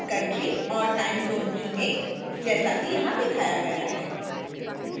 फिर country और timezone चुनें जैसा कि यहां दिखाया गया है